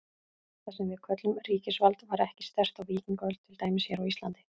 Það sem við köllum ríkisvald var ekki sterkt á víkingaöld, til dæmis hér á Íslandi.